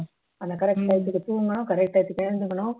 ஆனா correct time க்கு தூங்கணும் correct time க்கு எழுந்துக்கணும்